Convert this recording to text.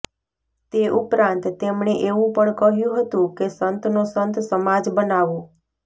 તે ઉપરાંત તેમણે એવું પણ કહ્યું હતું કે સંતનો સંત સમાજ બનાવો